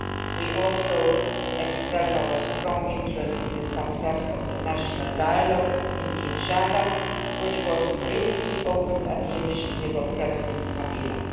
We also express our strong interest in the success of the national dialogue in Kinshasa, which was recently opened at the initiative of President Kabila.